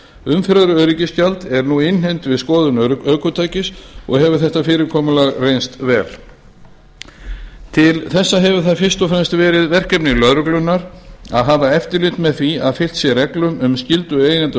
umferðaröryggisgjald er nú innheimt við skoðun ökutækis og hefur þetta fyrirkomulag reynst vel til þessa hefur það fyrst og fremst verið verkefni lögreglunnar að hafa eftirlit með því að fylgt sé reglum um skyldu eiganda